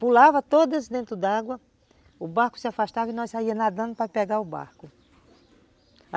Pulava todas dentro d'água, o barco se afastava e nós saíamos nadando para pegar o barco.